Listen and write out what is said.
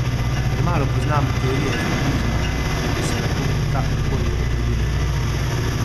Premalo poznam teorije feminizma, da bi se lahko kakorkoli opredelila.